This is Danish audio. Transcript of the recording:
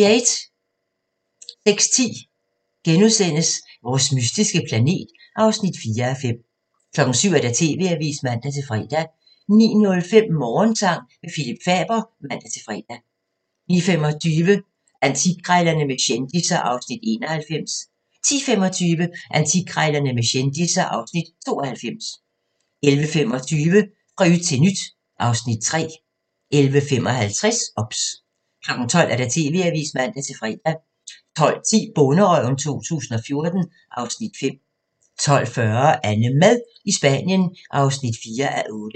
06:10: Vores mystiske planet (4:5)* 07:00: TV-avisen (man-fre) 09:05: Morgensang med Phillip Faber (man-fre) 09:25: Antikkrejlerne med kendisser (Afs. 91) 10:25: Antikkrejlerne med kendisser (Afs. 92) 11:25: Fra yt til nyt (Afs. 3) 11:55: OBS 12:00: TV-avisen (man-fre) 12:10: Bonderøven 2014 (Afs. 5) 12:40: AnneMad i Spanien (4:8)